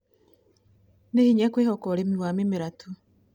Nĩ hinya kwĩhoka ũrĩmi wa mĩmera tu